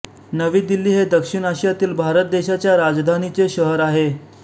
नवी दिल्ली हे दक्षिण आशियामधील भारत देशाच्या राजधानीचे शहर आहे